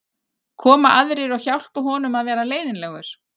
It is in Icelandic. Koma aðrir og hjálpa honum að vera leiðinlegur?